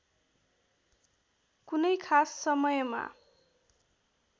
कुनै खास समयमा